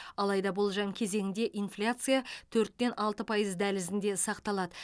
алайда болжам кезеңінде инфляция төрттен алты пайыз дәлізінде сақталады